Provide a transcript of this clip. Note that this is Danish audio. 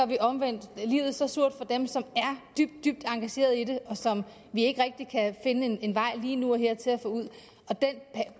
vi omvendt livet så surt for dem som er dybt dybt engageret i det og som vi ikke rigtig kan finde en en vej lige nu og her til at få ud den